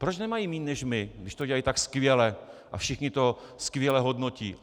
Proč nemají méně než my, když to dělají tak skvěle a všichni to skvěle hodnotí?